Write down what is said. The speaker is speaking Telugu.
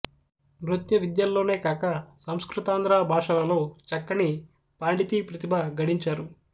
నృత్య విద్యల్లోనే గాక సంస్కృతాంధ్ర భాషలలో చక్కని పాండితీ ప్రతిభ గడించారు